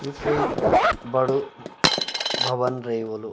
यु कुई बडू भवन रये होलू।